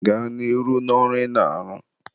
gaa n'ihu n'ọrụ ị na-arụ.